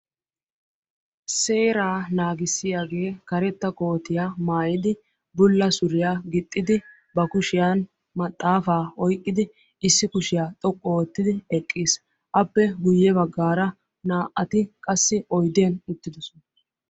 Seeraa naagissiyage karetta kootiya mayidi bulla suriya gixxidi ba kushiyan maxxaafaa oyiqqidi issi kushiya xoqqu oottidi eqqis. Appe guyye baggaara naa"ati qassi oyidiyan uttidosona.